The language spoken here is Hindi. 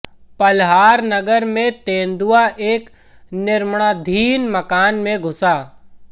पल्हर नगर में तेंदुआ एक निर्माणाधीन मकान में घुसा